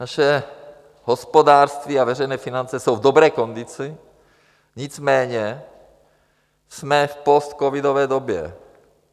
Naše hospodářství a veřejné finance jsou v dobré kondici, nicméně jsme v postcovidové době.